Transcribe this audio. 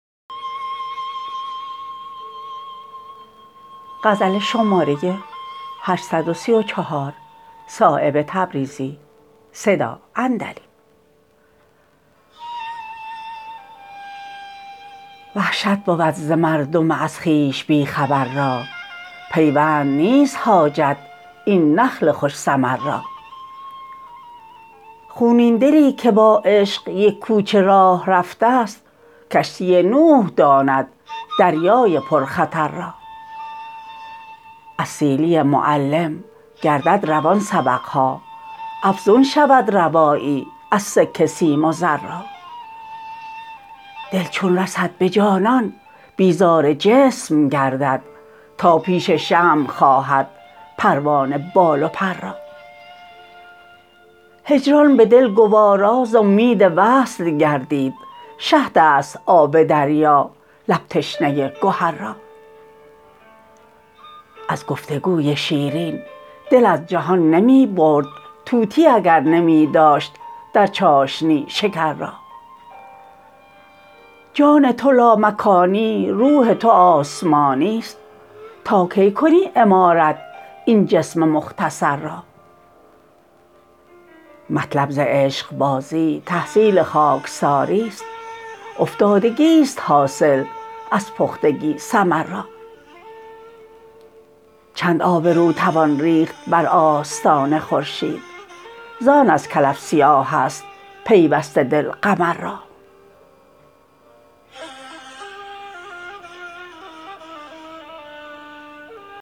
وحشت بود ز مردم از خویش بی خبر را پیوند نیست حاجت این نخل خوش ثمر را خونین دلی که با عشق یک کوچه راه رفته است کشتی نوح داند دریای پرخطر را از سیلی معلم گردد روان سبق ها افزون شود روایی از سکه سیم و زر را دل چون رسد به جانان بیزار جسم گردد تا پیش شمع خواهد پروانه بال و پر را هجران به دل گوارا ز امید وصل گردید شهدست آب دریا لب تشنه گهر را از گفتگوی شیرین دل از جهان نمی برد طوطی اگر نمی داشت در چاشنی شکر را جان تو لامکانی روح تو آسمانی است تا کی کنی عمارت این جسم مختصر را مطلب ز عشقبازی تحصیل خاکساری است افتادگی است حاصل از پختگی ثمر را چند آبرو توان ریخت بر آستان خورشید زان از کلف سیاه است پیوسته دل قمر را